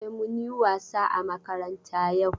E, mun yi wasa a makaranta yau.